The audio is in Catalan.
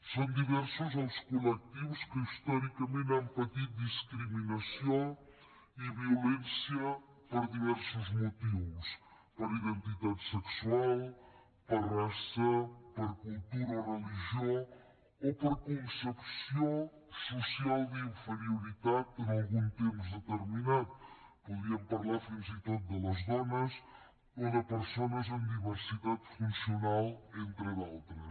són diversos els col·lectius que històricament han patit discriminació i violència per diversos motius per identitat sexual per raça per cultura o religió o per concepció social d’inferioritat en algun temps determinat podríem parlar fins i tot de les dones o de persones amb diversitat funcional entre d’altres